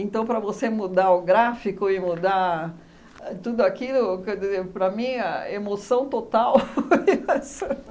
para você mudar o gráfico e mudar tudo a aquilo, quer dizer, para mim, a emoção total foi essa.